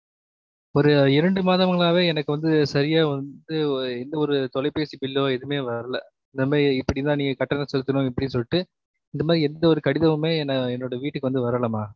ஒரு இரன்டு மாதங்களாவே எனக்கு வந்து சரியா வந்து எந்த ஒரு தொலைபேசி bill லோ எதுமே வரல, இந்த மாரி இப்புடி தான் நீங்க கட்டணம் செலுத்தணும்னு இப்புடி சொல்லிட்டு இந்த மாறி எந்த ஒரு கடிதமுமே என்னோ~ என்னோட வீட்டுக்கு வந்து வரல மா